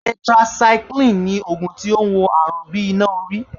Tetracycline ni ògùn tó ń wo àrùn bí iná orí